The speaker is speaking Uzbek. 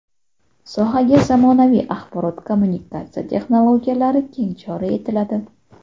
Sohaga zamonaviy axborot-kommunikatsiya texnologiyalari keng joriy etiladi.